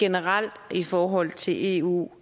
generelt i forhold til eu